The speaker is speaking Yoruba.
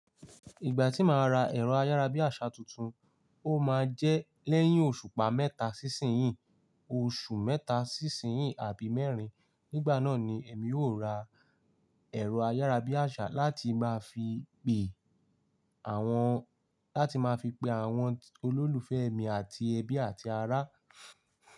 Ìgbà tí màá ra ẹ̀rọ ayárabíàṣá tuntun, ó máa jẹ́ lẹ́yìn oṣùpa mẹ́ta sí ìsin yìí, oṣù mẹ́ta sí ìsin yìí àbí mẹ́rin. Nígbà náà ni èmi yóò ra ẹ̀rọ ayárabíàṣá láti máa fi pe àwọn, láti máa fi pe àwọn olólùfẹ́ mi àti ẹbí àti ará.